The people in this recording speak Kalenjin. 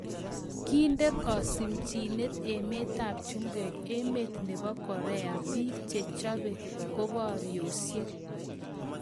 Kindee kasimchineet emeet ap chumbek emeet neboo koreak piik chechopee komboresiek